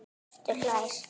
Hjörtur hlær.